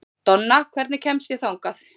Donna, hvernig kemst ég þangað?